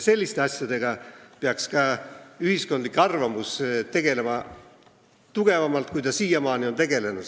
Selliste asjadega peaks ka ühiskondlik arvamus tegelema tugevamalt, kui ta siiamaani on tegelenud.